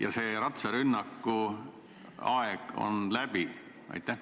Kas sellise ratsarünnaku aeg on läbi?